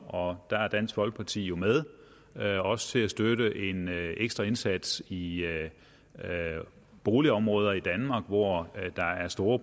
og der er dansk folkeparti jo med også til at støtte en ekstra indsats i boligområder i danmark hvor der er store